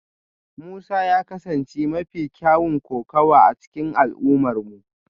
Musa ya kasance mafi kyawun kokawa a cikin al'ummarmu